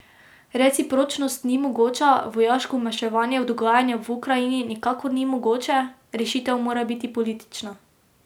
Recipročnost ni mogoča, vojaško vmešavanje v dogajanje v Ukrajini nikakor ni mogoče, rešitev mora biti politična.